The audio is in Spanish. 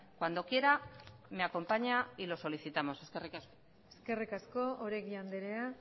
cuando quiera me acompaña y lo solicitamos eskerrik asko eskerrik asko oregi andrea